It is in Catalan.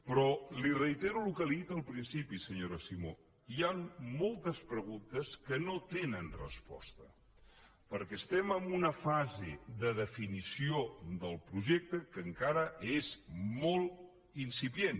però li reitero el que li he dit al principi senyora simó hi han moltes preguntes que no tenen resposta perquè estem en una fase de definició del projecte que encara és molt incipient